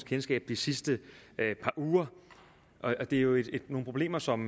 kendskab det sidste par uger det er jo nogle problemer som